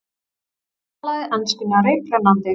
Talaði enskuna reiprennandi.